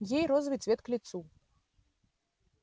ей розовый цвет к лицу